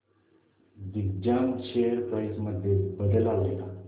Digjam share price मध्ये बदल आलाय का